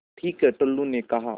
ठीक है टुल्लु ने कहा